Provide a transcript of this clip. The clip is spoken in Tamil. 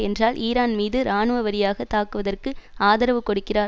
என்றால் ஈரான் மீது இராணுவரீதியாகத் தாக்குவதற்கு ஆதரவு கொடுக்கிறார்